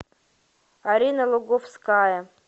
арина луговская